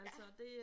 Ja